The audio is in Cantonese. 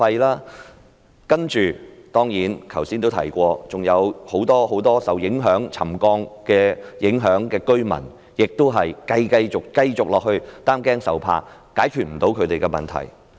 再者，正如我剛才也說，還有很多受沉降影響的居民繼續要擔驚受怕，他們的問題無法得到解決。